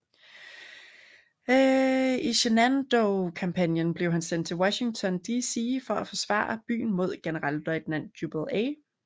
I Shenandoah kampagnen blev han sendt til Washington DC for at forsvare byen mod generalløjtnant Jubal A